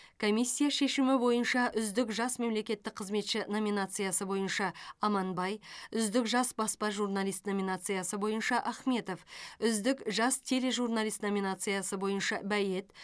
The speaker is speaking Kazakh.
комиссия шешімі бойынша үздік жас мемлекеттік қызметші номинациясы бойынша аманбай үздік жас баспа журналист номинациясы бойынша ахметов үздік жас тележурналист номинациясы бойынша бает